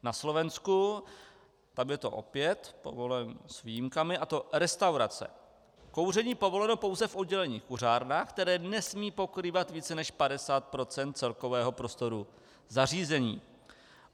Na Slovensku, tam je to opět povoleno s výjimkami, a to: restaurace - kouření povoleno pouze v oddělených kuřárnách, které nesmí pokrývat více než 50 % celkového prostoru zařízení;